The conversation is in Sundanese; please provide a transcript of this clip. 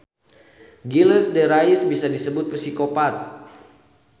Gilles de Rais bisa disebut psikopat.